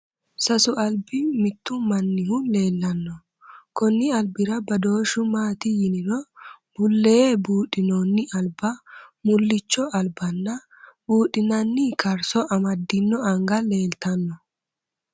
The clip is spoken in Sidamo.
Sasu albi mittu mannihu leellanno. Konni albira badooshahu maati yiniro bullee budhinoonni alba, mullicho alba nna buudhinanni karso amaddino anga leeltanno.